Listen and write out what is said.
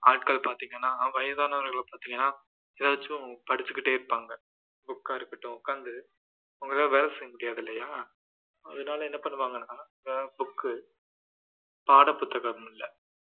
ஆட்கள் பார்த்தீங்கன்னா வயதானவர்களை பார்த்தீங்கன்னா ஏதாச்சும் படிச்சுகிட்டே இருப்பாங்க book ஆ இருக்கட்டும் உட்கார்ந்து அவங்களால வேலை செய்யமுடியாது இல்லையா அதனால என்ன பண்ணுவாங்கன்னா ஏதாவது book பாட புத்தகம் இல்ல